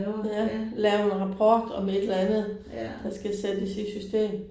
Ja. Lave en rapport om et eller andet der skal sættes i system